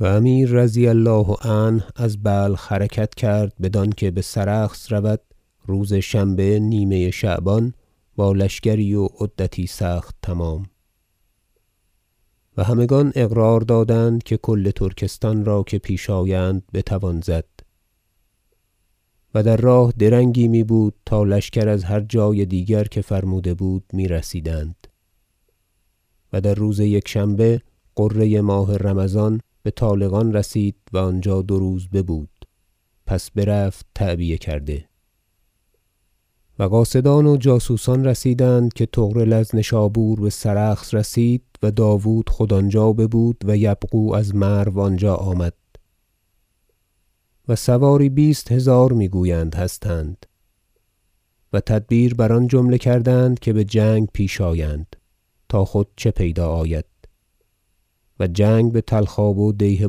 و امیر رضی الله عنه از بلخ حرکت کرد بدانکه بسرخس رود روز شنبه نیمه شعبان با لشکری و عدتی سخت تمام و همگان اقرار دادند که کل ترکستان را که پیش آیند بتوان زد و در راه درنگی می بود تا لشکر از هر جای دیگر که فرموده بود میرسیدند و در روز یکشنبه غره ماه رمضان بطالقان رسید و آنجا دو روز ببود پس برفت تعبیه کرده و قاصدان و جاسوسان رسیدند که طغرل از نشابور بسرخس رسید و داود خود آنجا ببود و یبغو از مرو آنجا آمد و سواری بیست هزار میگویند هستند و تدبیر بر آن جمله کردند که بجنگ پیش آیند تا خود چه پیدا آید و جنگ بطلخاب و دیه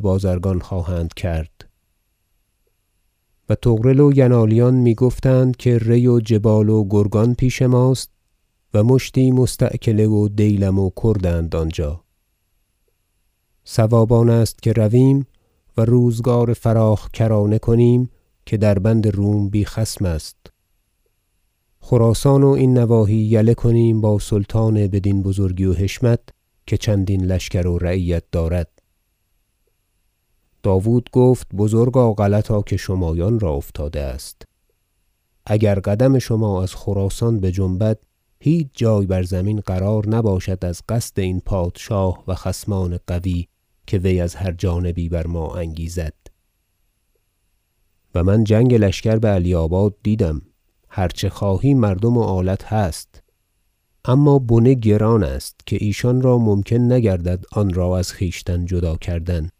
بازرگانان خواهند کرد و طغرل و ینالیان میگفتند که ری و جبال و گرگان پیش ماست و مشتی مستأکله و دیلم و کردند آنجا صواب آنست که رویم و روزگار فراخ کرانه کنیم که در بند روم بی خصم است خراسان و این نواحی یله کنیم با سلطان بدین بزرگی و حشمت که چندین لشکر و رعیت دارد داود گفت بزرگا غلطا که شمایان را افتاده است اگر قدم شما از خراسان بجنبد هیچ جای بر زمین قرار نباشد از قصد این پادشاه و خصمان قوی که وی از هر جانبی بر ما انگیزد و من جنگ لشکر بعلیاباد دیدم هر چه خواهی مردم و آلت هست اما بنه گران است که ایشان را ممکن نگردد آنرا از خویشتن جدا کردن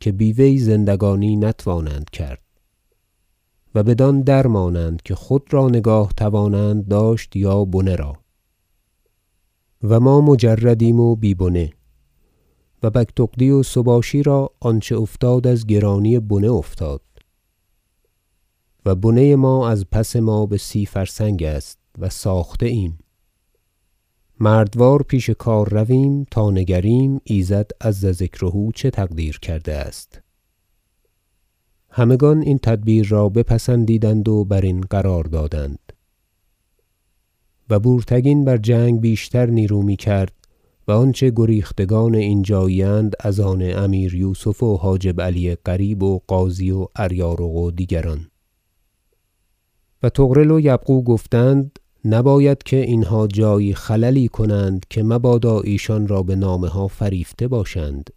که بی وی زندگانی نتوانند کرد و بدان درمانند که خود را نگاه توانند داشت یا بنه را و ما مجردیم و بی بنه و بگتغدی و سباشی را آنچه افتاد از گرانی بنه افتاد و بنه ما از پس ما به سی فرسنگ است و ساخته ایم مردوار پیش کار رویم تا نگریم ایزد عز ذکره چه تقدیر کرده است همگان این تدبیر را بپسندیدند و برین قرار دادند و بورتگین بر جنگ بیشتر نیرو میکرد و آنچه گریختگان اینجایی اند از آن امیر یوسف و حاجب علی قریب و غازی و اریارق و دیگران و طغرل و یبغو گفتند نباید که اینها جایی خللی کنند که مبادا که ایشان را بنامه ها فریفته باشند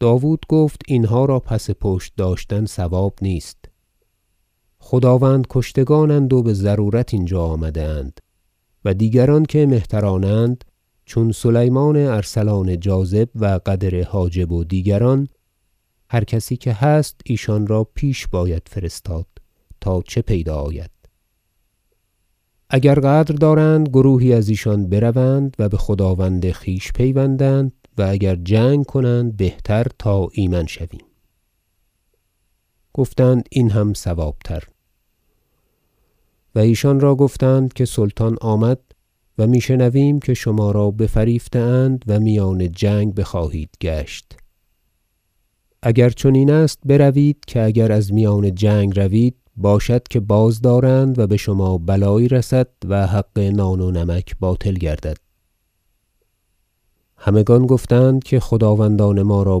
داود گفت اینها را پس پشت داشتن صواب نیست خداوند کشتگانند و بضرورت اینجا آمده اند و دیگران که مهترانند چون سلیمان ارسلان جاذب و قدر حاجب و دیگران هر کسی که هست ایشان را پیش باید فرستاد تا چه پیدا آید اگر غدر دارند گروهی از ایشان بروند و بخداوند خویش پیوندند و اگر جنگ کنند بهتر تا ایمن شویم گفتند این هم صواب تر و ایشان را گفتند که سلطان آمد و می شنویم که شما را بفریفته اند و میان جنگ بخواهید گشت اگر چنین است بروید که اگر از میان جنگ روید باشد که بازدارند و بشما بلایی رسد و حق نان و نمک باطل گردد همگان گفتند که خداوندان ما را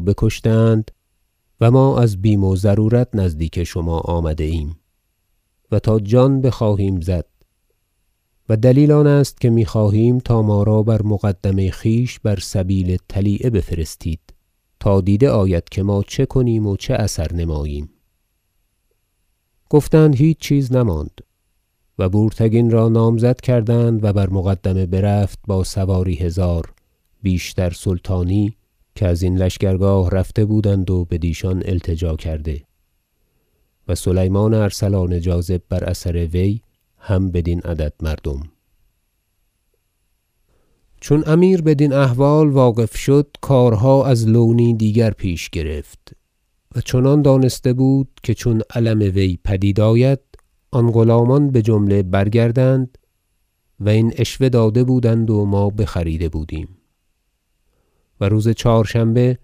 بکشته اند و ما از بیم و ضرورت نزدیک شما آمده ایم و تا جان بخواهیم زد و دلیل آنست که میخواهیم تا ما را بر مقدمه خویش بر سبیل طلیعه بفرستید تا دیده آید که ما چه کنیم و چه اثر نماییم گفتند هیچ چیز نماند و بورتگین را نامزد کردند و بر مقدمه برفت با سواری هزار بیشتر سلطانی که ازین لشکرگاه رفته بودند و بدیشان التجا کرده و سلیمان ارسلان جاذب بر اثر وی هم بدین عدد مردم جنگ کردن با سلجوقیان در بیابان سرخس و هزیمت افتادن ایشان چون امیر بدین احوال واقف شد کارها از لونی دیگر پیش گرفت و چنان دانسته بود که چون علم وی پدید آید آن غلامان بجمله برگردند و این عشوه داده بودند و ما بخریده بودیم و روز چهارشنبه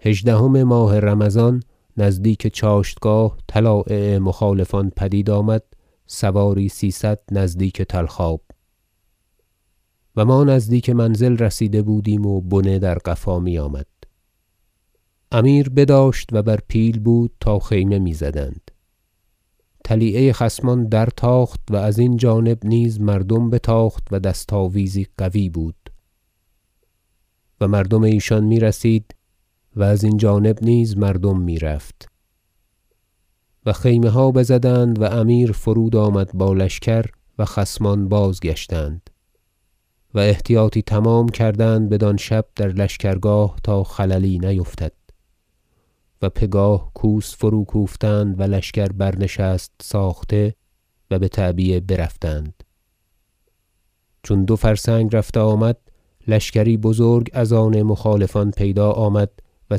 هژدهم ماه رمضان نزدیک چاشتگاه طلایع مخالفان پدید آمد سواری سیصد نزدیک طلخ آب و ما نزدیک منزل رسیده بودیم و بنه در قفا میآمد امیر بداشت و بر پیل بود تا خیمه میزدند طلیعه خصمان در تاخت و ازین جانب نیز مردم بتاخت و دست آویزی قوی بود و مردم ایشان میرسید و ازین جانب نیز مردم میرفت و خیمه ها بزدند و امیر فرود آمد با لشکر و خصمان بازگشتند و احتیاطی تمام کردند بدان شب در لشکرگاه تا خللی نیفتد و پگاه کوس فروکوفتند و لشکر برنشست ساخته و بتعبیه برفتند چون دو فرسنگ رفته آمد لشکری بزرگ از آن مخالفان پیدا آمد و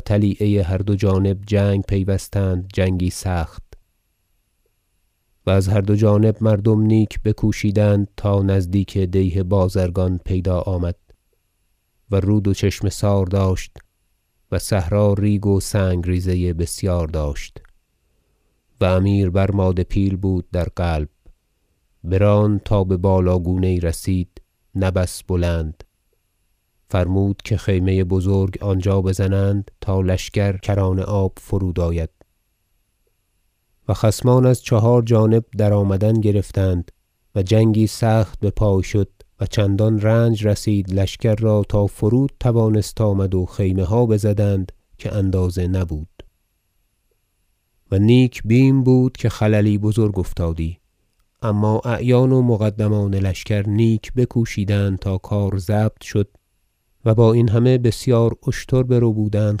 طلیعه هر دو جانب جنگ پیوستند جنگی سخت و از هر دو جانب مردم نیک بکوشیدند تا نزدیک دیه بازرگان پیدا آمد و رود و چشمه- سار داشت و صحرا ریگ و سنگ ریزه بسیار داشت و امیر بر ماده پیل بود در قلب براند تا ببالا گونه یی رسید نه بس بلند فرمود که خیمه بزرگ آنجا بزنند تا لشکر کران آب فرود آید و خصمان از چهار جانب درآمدن گرفتند و جنگی سخت بپای شد و چندان رنج رسید لشکر را تا فرود توانست آمد و خیمه ها بزدند که اندازه نبود و نیک بیم بود که خللی بزرگ افتادی اما اعیان و مقدمان لشکر نیک بکوشیدند تا کار ضبط شد و با این همه بسیار اشتر بربودند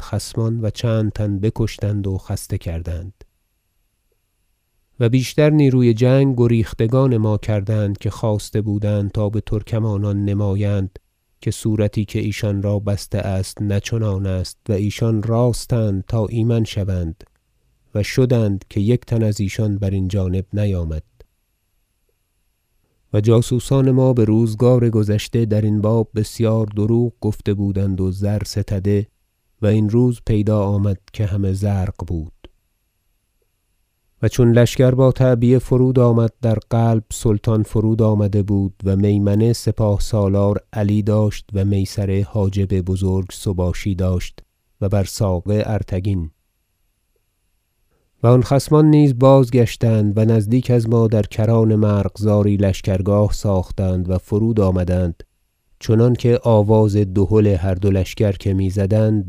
خصمان و چند تن بکشتند و خسته کردند و بیشتر نیروی جنگ گریختگان ما کردند که خواسته بودند تا بترکمانان نمایند که صورتی که ایشان را بسته است نه چنان است و ایشان راست اند تا ایمن شوند و شدند که یک تن ازیشان برین جانب نیامد و جاسوسان ما بروزگار گذشته درین باب بسیار دروغ گفته بودند و زر ستده و این روز پیدا آمد که همه زرق بود و چون لشکر با تعبیه فرود آمد در قلب سلطان فرود آمده بود و میمنه سپاه- سالار علی داشت و میسره حاجب بزرگ سباشی داشت و بر ساقه ارتگین و آن خصمان نیز بازگشتند و نزدیک از ما در کران مرغزاری لشکرگاه ساختند و فرود آمدند چنانکه آواز دهل هر دو لشکر که میزدند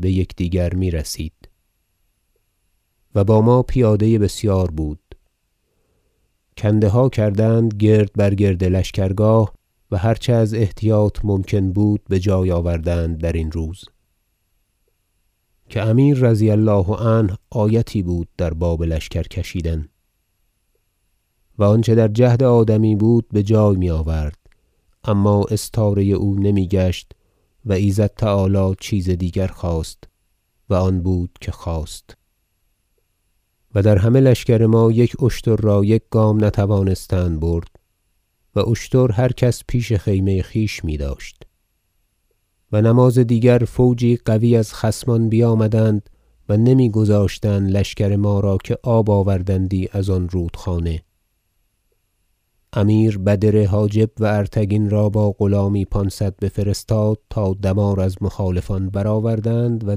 بیکدیگر میرسید و با ما پیاده بسیار بود کنده ها کردند گرد بر گرد لشکرگاه و هر چه از احتیاط ممکن بود بجای آوردند درین روز که امیر رضی الله عنه آیتی بود در باب لشکر کشیدن و آنچه در جهد آدمی بود بجای میآورد اما استاره او نمیگشت و ایزد تعالی چیز دیگر خواست و آن بود که خواست و در همه لشکر ما یک اشتر را یک گام نتوانستند برد و اشتر هر کس پیش خیمه خویش میداشت و نماز دیگر فوجی قوی از خصمان بیامدند و نمیگذاشتند لشکر ما را که آب آوردندی از آن رودخانه امیر بدر حاجب و ارتگین را با غلامی پانصد بفرستاد تا دمار از مخالفان برآوردند و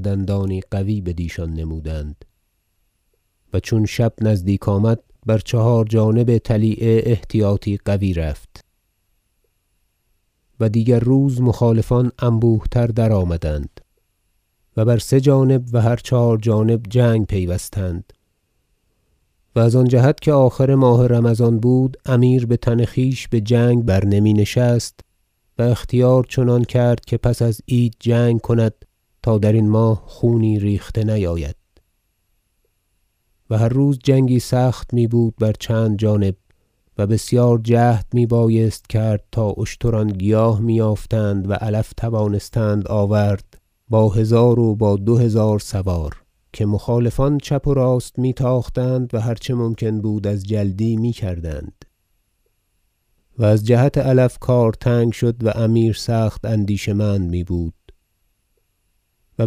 دندانی قوی بدیشان نمودند و چون شب نزدیک آمد بر چهار جانب طلیعه احتیاطی قوی رفت و دیگر روز مخالفان انبوه تر درآمدند و بر سه جانب و هر چهار جانب جنگ پیوستند و از آن جهت که آخر ماه رمضان بود امیر بتن خویش بجنگ بر نمی نشست و اختیار چنان کرد که پس از عید جنگ کند تا درین ماه خونی ریخته نیاید و هر روز جنگی سخت میبود بر چند جانب و بسیار جهد می بایست کرد تا اشتران گیاه می یافتند و علف توانستند آورد با هزار و با دو هزار سوار که مخالفان چپ و راست می تاختند و هر چه ممکن بود از جلدی میکردند و از جهت علف کار تنگ شد و امیر سخت اندیشه مند میبود و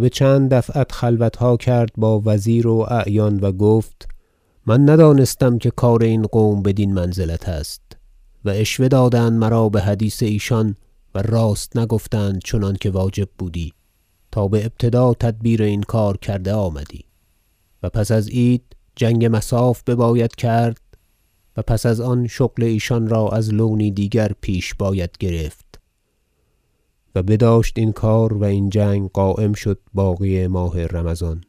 بچند دفعت خلوتها کرد با وزیر و اعیان و گفت من ندانستم که کار این قوم بدین منزلت است و عشوه دادند مرا بحدیث ایشان و راست نگفتند چنانکه واجب بودی تا بابتدا تدبیر این کار کرده آمدی و پس از عید جنگ مصاف بباید کرد و پس از آن شغل ایشان را از لونی دیگر پیش باید گرفت و بداشت این کار و این جنگ قایم شد باقی ماه رمضان